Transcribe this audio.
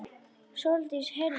Sóldís heyrði vel.